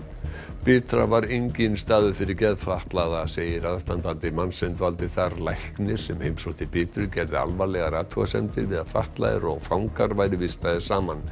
bitra var enginn staður fyrir geðfatlaða segir aðstandandi manns sem dvaldi þar læknir sem heimsótti Bitru gerði alvarlegar athugasemdir við að fatlaðir og fangar væru vistaðir saman